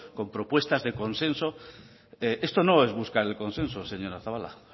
con propuestas de consenso esto no es buscar el consenso señora zabala